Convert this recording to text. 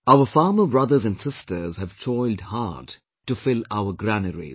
Our farmer brothers and sisters have toiled hard to fill our granaries